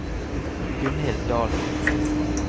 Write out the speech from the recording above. Gunnhild Dahlen